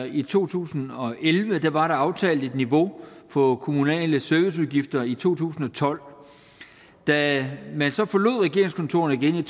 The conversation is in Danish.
i to tusind og elleve var der aftalt et niveau for kommunale serviceudgifter i to tusind og tolv da man så forlod regeringskontorerne igen i